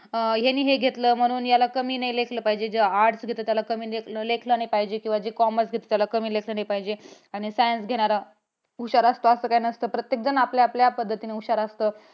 अं ह्याने हे घेतलं म्हणून त्याला कमी लेखलं नाही पाहिजे जो arts घेतो त्याला कमी लेखलं नाही पाहिजे commerce घेतो त्याला कमी लेखलं नाही पाहिजे. आणी science घेणारा हुशार असतो असं काही नसतं. प्रत्येक जण आपल्या आपल्या पद्धतीने हुशार असतो.